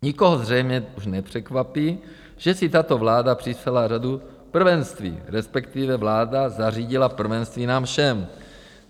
Nikoho zřejmě už nepřekvapí, že si tato vláda připsala řadu prvenství, respektive vláda zařídila prvenství nám všem.